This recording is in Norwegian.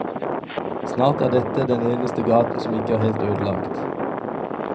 Snart er dette den eneste gaten som ikke er helt ødelagt.